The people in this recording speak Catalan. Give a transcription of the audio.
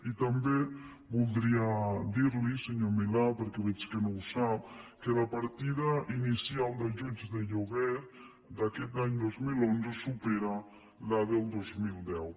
i també voldria dir li senyor milà perquè veig que no ho sap que la partida inicial d’ajuts de lloguer d’aquest any dos mil onze supera la del dos mil deu